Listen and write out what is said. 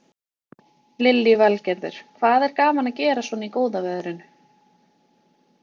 Lillý Valgerður: Hvað er gaman að gera svona í góða veðrinu?